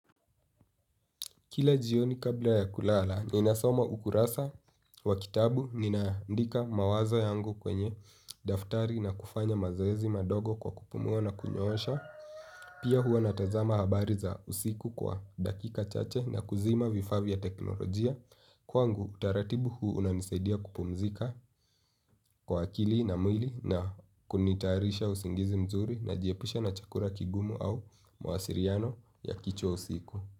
Kila jioni kabla ya kulala, nina soma ukurasa wa kitabu, nina andika mawazo yangu kwenye daftari na kufanya mazoezi madogo kwa kupumuwa na kunyosha. Pia hua natazama habari za usiku kwa dakika chache na kuzima vifavya teknolojia. Kwangu, tuaratibu huu unanisaidia kupumzika kwa akili na mwili na kunitarisha usingizi mzuri na jiepusha na chakura kigumu au mawasiriano ya kicho usiku.